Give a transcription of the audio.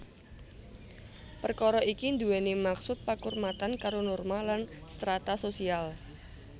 Perkara iki duweni maksud pakurmatan karo norma lan strata sosial